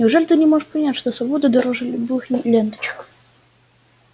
неужели ты не можешь понять что свобода дороже любых ленточек